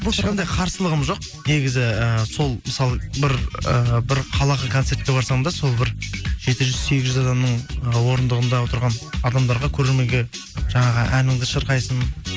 ешқандай қарсылығым жоқ негізі і сол мысалы бір ы бір қалаға концертке барсаң да сол бір жеті жүз сегіз жүз адамның ы орындығында отырған адамдарға көрерменге жаңағы әніңді шырқайсың